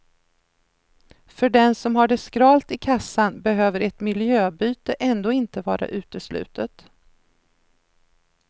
För den som har det skralt i kassan behöver ett miljöbyte ändå inte vara uteslutet.